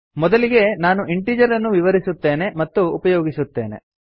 ಮೊದಲಿಗೆ ನಾನು ಇಂಟಿಜೆರ್ ಅನ್ನು ವಿವರಿಸುತ್ತೇನೆ ಮತ್ತು ಉಪಯೋಗಿಸುತ್ತೇನೆ